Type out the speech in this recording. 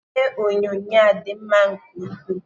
Ihe onyonyo a dị mma nke ukwuu.